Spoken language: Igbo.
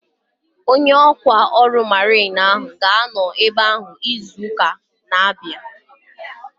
Onye ọkwá ọrụ mariin ahu ga-anọ ebea izu ụka na-abịa